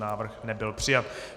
Návrh nebyl přijat.